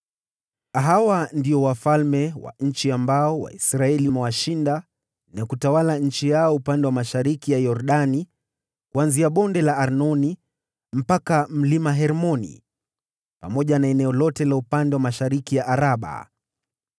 Hawa ndio wafalme wa nchi ambao Waisraeli waliwashinda na kuitwaa nchi yao upande wa mashariki mwa Yordani, kuanzia Bonde la Arnoni mpaka Mlima Hermoni, pamoja na eneo lote la upande wa mashariki ya Araba: